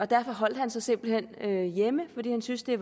derfor holder han sig simpelt hen hjemme fordi han synes det